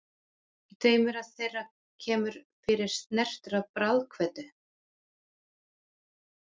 Í tveimur þeirra kemur fyrir snertur af bráðkveddu.